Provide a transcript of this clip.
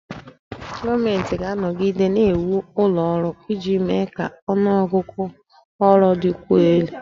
Gọọmenti ga-anọgide na-ewu ụlọ ọrụ iji mee ka ọnụ ọgụgụ ọrụ dịkwuo elu